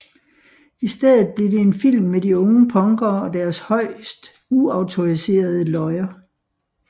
I stedet blev det en film med de unge punkere og deres højst uautoriserede løjer